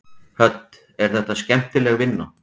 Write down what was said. Hödd: Er þetta skemmtileg vinna?